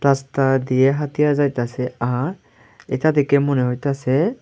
রাস্তা দিয়া হাতিয়া যাইতাসে আর এইতা দেখে মনে হইতাসে--